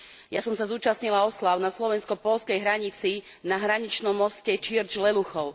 Ja som sa zúčastnila osláv na slovensko poľskej hranici na hraničnom moste Čirč Leluchov.